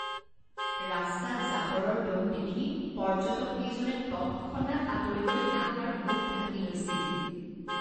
ৰাস্তাত জাবৰৰ দ'ম দেখি পৰ্যটককেইজনে তৎক্ষণাত আঁতৰি গৈ নাক আৰু মুখ ঢাকি লৈছিল।